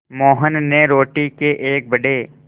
मोहन ने रोटी के एक बड़े